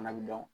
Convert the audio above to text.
Fana bi dɔn